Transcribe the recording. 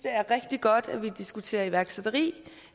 er rigtig godt at vi diskuterer iværksætteri